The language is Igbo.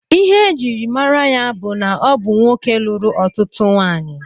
Ihe e jiri mara ya bụ na ọ bụ nwoke lụrụ ọtụtụ nwanyị